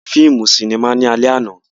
A lọ wo fíìmù ni sinimá lálẹ́ àná